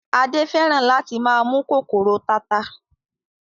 Adé fẹ́ràn láti máa mú kòkòrò tata